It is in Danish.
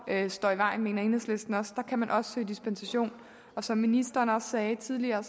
står i vejen men her kan man også søge dispensation som ministeren sagde tidligere